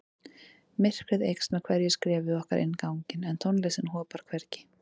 Myrkrið eykst með hverju skrefi okkar inn ganginn en tónlistin hopar hvergi.